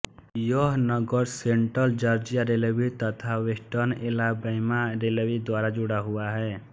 यह नगर central Georgia railway तथा वेस्टर्न ऐलाबैमा रेलवे द्वारा जुड़ा हुआ है